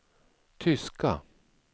tyska